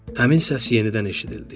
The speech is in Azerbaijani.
Həmin səs yenidən eşidildi.